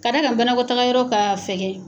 Kɛa d'a kan banakɔtaga yɔrɔ k'a fɛgɛ